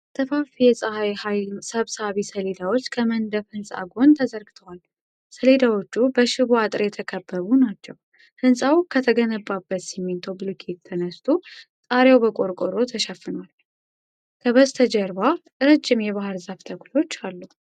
ሰፋፊ የፀሐይ ኃይል ሰብሳቢ ሰሌዳዎች ከመንደፍ ሕንፃ ጎን ተዘርግተዋል። ሰሌዳዎቹ በሽቦ አጥር የተከበቡ ናቸው። ሕንፃው ከተገነባበት ሲሚንቶ ብሎኬት ተነስቶ ጣሪያው በቆርቆሮ ተሸፍኗል። ከበስተጀርባ ረጅም የባሕር ዛፍ ተክሎች አሉ።